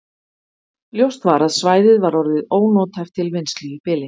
Ljóst var að svæðið var orðið ónothæft til vinnslu í bili.